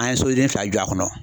An ye soden fila jɔ a kɔnɔ.